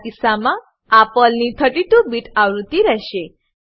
મારા કિસ્સામાં આ પર્લની 32 બીટ 32 બીટ આવૃત્તિ રહેશે